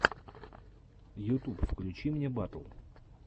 ютуб включи мне батл